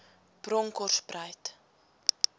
bronkhorspruit